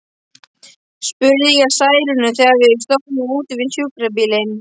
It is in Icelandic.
spurði ég Særúnu, þegar við stóðum úti við sjúkrabílinn.